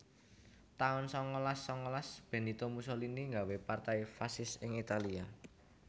taun sangalas sangalas Benito Mussolini nggawé Partai Fasis ing Italia